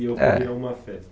E ocorreu uma festa.